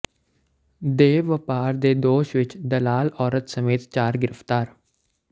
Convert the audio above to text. ਦੇਹ ਵਪਾਰ ਦੇ ਦੋਸ਼ ਵਿਚ ਦਲਾਲ ਔਰਤ ਸਮੇਤ ਚਾਰ ਗ੍ਰਿਫਤਾਰ